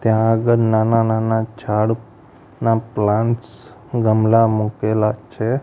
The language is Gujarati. ત્યાં આગળ નાના નાના ઝાડ ના પ્લાન્ટ્સ ગમલા મુકેલા છે.